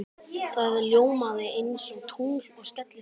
Það ljómaði einsog tungl og skellihló.